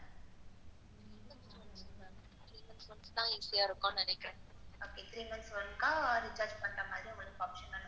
Three months once தான் easy இருக்கும்னு நினைக்கறேன். three months க்கு ஒருக்கா recharge பண்ற மாதிரி தான் option இருக்கு.